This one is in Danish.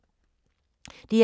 DR2